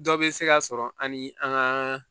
Dɔ bɛ se ka sɔrɔ ani an ka